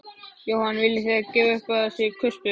Jóhann: Viljið þið gefa upp hvað þið kusuð?